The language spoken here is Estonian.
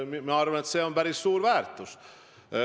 Ma arvan, et see on päris suur väärtus.